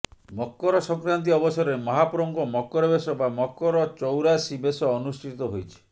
ମକର ସଂକ୍ରାନ୍ତି ଅବସରରେ ମହାପ୍ରଭୂଙ୍କ ମକରବେଶ ବା ମକର ଚୌରାଶୀ ବେଶ ଅନୁଷ୍ଠିତ ହୋଇଛି